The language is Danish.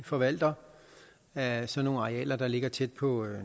forvalter af sådan nogle arealer der ligger tæt på